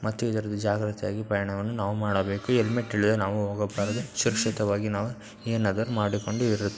ಮತ್ತು ಇದರಲ್ಲಿ ಜಾಗ್ರತೆಯಾಗಿ ಪ್ರಯಾಣ ಮಾಡಬೇಕು ಹೆಲ್ಮೆಟ್ ಇಲ್ಲದೆ ನಾವು ಹೋಗಬಾರದು ಸುರಕ್ಷತೆಯಾಗಿ ಏನಾದರು ಮಾಡಿಕೊಂಡು--